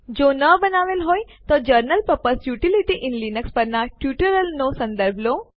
જો ન બનાવેલ હો તો general purpose utilities in Linux પરના ટ્યુટોરીયલ સંદર્ભ લો